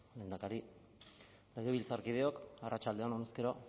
lehendakari legebiltzarkideok arratsalde on bueno